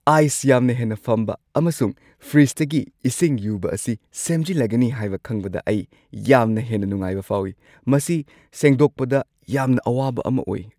Ice ꯌꯥꯝꯅ ꯍꯦꯟꯅ ꯐꯝꯕ ꯑꯃꯁꯨꯡ ꯐ꯭ꯔꯤꯖꯇꯒꯤ ꯏꯁꯤꯡ ꯌꯨꯕ ꯑꯁꯤ ꯁꯦꯝꯖꯤꯜꯂꯒꯅꯤ ꯍꯥꯏꯕ ꯈꯪꯕꯗ ꯑꯩ ꯌꯥꯝꯅ ꯍꯦꯟꯅ ꯅꯨꯡꯉꯥꯏꯕ ꯐꯥꯎꯏ – ꯃꯁꯤ ꯁꯦꯡꯗꯣꯛꯄꯗ ꯌꯥꯝꯅ ꯑꯋꯥꯕ ꯑꯃ ꯑꯣꯏ ꯫